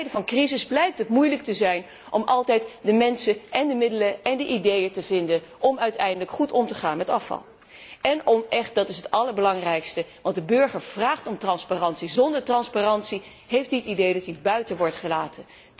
In tijden van crisis blijkt het moeilijk te zijn om steeds de mensen, de middelen en de ideeën te vinden om uiteindelijk goed om te gaan met afval. En ten derde echte transparantie, dat is het allerbelangrijkste, want de burger vraagt om transparantie. Zonder transparantie heeft hij het idee dat hij buiten wordt gesloten.